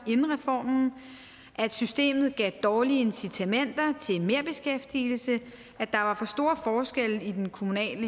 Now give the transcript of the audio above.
inden reformen at systemet gav dårlige incitamenter til merbeskæftigelse at der var for store forskelle i den kommunale